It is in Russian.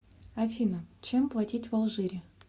афина чем платить в алжире